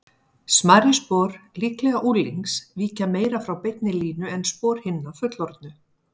Smærri spor, líklega unglings, víkja meira frá beinni línu en spor hinna fullorðnu.